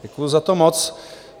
Děkuji za to moc.